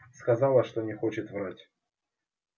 сказала что не хочет врать